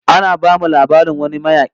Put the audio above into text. Ana bamu labarin wani mayaki